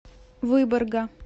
выборга